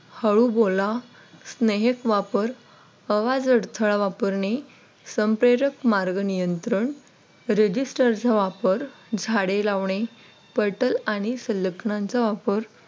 हळू बोला स्नेहक वापर आवाज अडथळा वापरणे संप्रेरक मार्ग नियंत्रण रजिस्टर चा वापर झाडे लावणे पटेल आणि सलग्नांचा वापर.